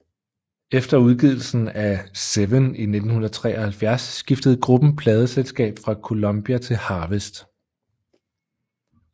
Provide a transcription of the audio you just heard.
Efter udgivelsen af Seven i 1973 skiftede gruppen pladeselskab fra Columbia til Harvest